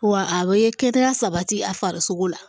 Wa a bɛ kɛnɛya sabati a farisogo la